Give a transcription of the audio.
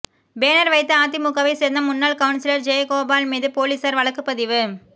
banner வைத்த அதிமுகவை சேர்ந்த முன்னாள் கவுன்சிலர் ஜெயகோபால் மீது போலீசார் வழக்குப்பதிவு